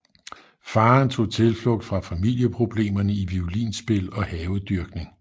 Faren tog tilflugt fra familieproblemerne i violinspil og havedyrkning